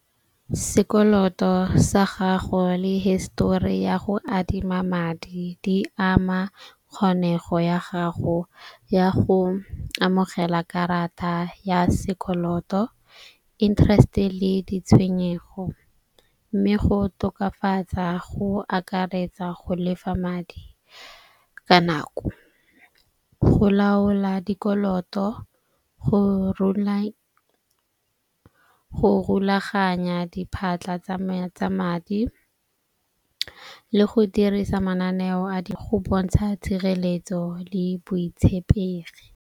Sekoloto sa gago le histori ya go adima madi di ama kgonego ya gago ya go amogela karata ya sekoloto, interest-e le ditshwenyego. Mme go tokafatsa go akaretsa go lefa madi ka nako, go laola dikoloto, go rulaganya diphatlha tsa madi le go dirisa mananeo go bontsha tshireletso le boitshepegi.